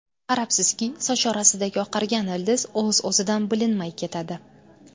Qarabsizki, soch orasidagi oqargan ildiz o‘z-o‘zidan bilinmay ketadi.